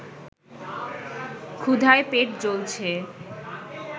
ক্ষুধায় পেট জ্বলছে